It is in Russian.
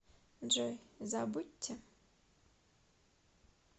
джой забудьте